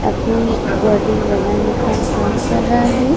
अपनी बॉडी बनाने का काम कर रहा है।